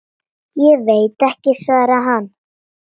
Ég veit ekki, svaraði hann.